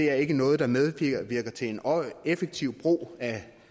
er ikke noget der medvirker til en effektiv brug af